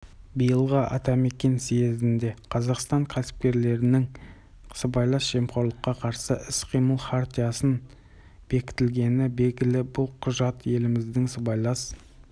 биылғы атамекен съезінде қазақстан кәсіпкерлерінің сыбайлас жемқорлыққа қарсы іс-қимыл хартиясын бекітілгені белгілі бұл құжат еліміздің сыбайлас